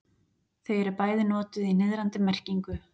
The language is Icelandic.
þau eru bæði notuð í niðrandi merkingu